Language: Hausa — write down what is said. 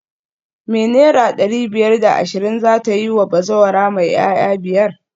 Me naira dari biyar da ashirin zata yiwa bazawara mai 'ya'ya biyar?